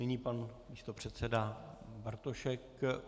Nyní pan místopředseda Bartošek.